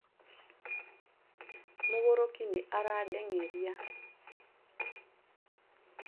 mũgũrũki nĩ aradeng'eria